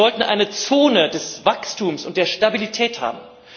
Wir wollten eine Zone des Wachstums und der Stabilität haben.